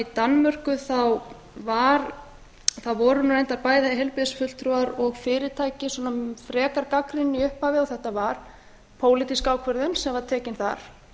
danmörku voru reyndar bæði heilbrigðisfulltrúar og fyrirtæki frekar gagnrýnin í upphafi og þetta var pólitísk ákvörðun sem var tekin þar